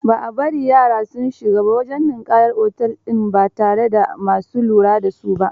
Ba a bari yara su shiga wajen ninƙayar otel din ba tare da ma su lura da su ba